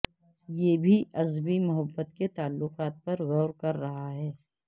یہ بھی اسبی محبت کے تعلقات پر غور کر رہا ہے